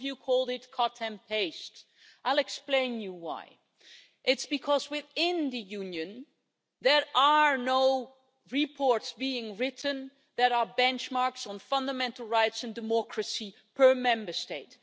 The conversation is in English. some called it cut and paste'. I will explain why. It's because within the Union there are no reports being written that are benchmarks on fundamental rights and democracy per Member State.